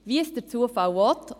Wie es der Zufall will …